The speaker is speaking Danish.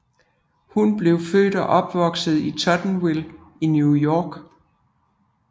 Hun blev født og opvoksede i Tottenville i New York